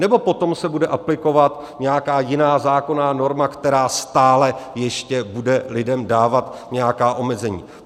Nebo potom se bude aplikovat nějaká jiná zákonná norma, která stále ještě bude lidem dávat nějaká omezení?